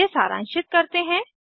इसे सारांशित करते हैं